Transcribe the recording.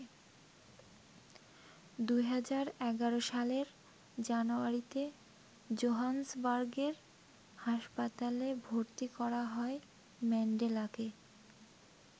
২০১১ সালের জানুয়ারিতে জোহান্সবার্গের হাসপাতালে ভর্তি করা হয় ম্যান্ডেলাকে।